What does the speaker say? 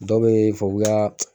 Dɔ be yen fɛ k'u y'a